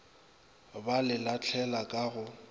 ba le lahlele ka go